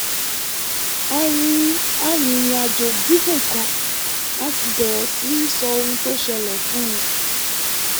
a rìnrìn àjò gígùn kan a sì bẹ̀rẹ̀ sí í sọ ohun tó ṣẹlẹ̀ fún un